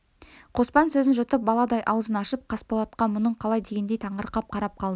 қоспан сөзін жұтып баладай аузын ашып қасболатқа мұның қалай дегендей таңырқап қарап қалды